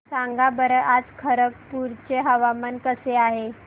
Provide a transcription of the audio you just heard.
सांगा बरं आज खरगपूर चे हवामान कसे आहे